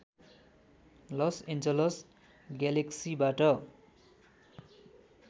loss Angeles ग्यालेक्सिबाट